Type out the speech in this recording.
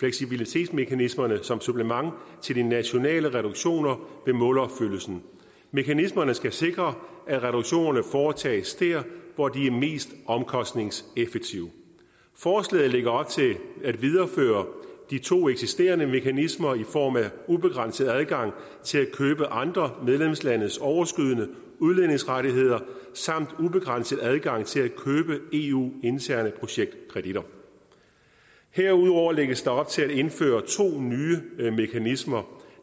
fleksibilitetsmekanismerne som supplement til de nationale reduktioner ved målopfyldelsen mekanismerne skal sikre at reduktionerne foretages der hvor de er mest omkostningseffektive forslaget lægger op til at videreføre de to eksisterende mekanismer i form af ubegrænset adgang til at købe andre medlemslandes overskydende udledningsrettigheder samt ubegrænset adgang til at købe eu interne projektkreditter herudover lægges der op til at indføre to nye mekanismer